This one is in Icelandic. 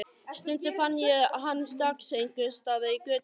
Stundum fann ég hann strax einhvers staðar í götunni.